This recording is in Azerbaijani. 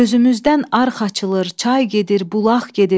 Gözümüzdən arx açılır, çay gedir, bulaq gedir.